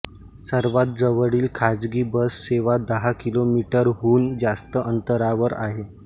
सर्वात जवळील खाजगी बस सेवा दहा किलोमीटरहून जास्त अंतरावर आहे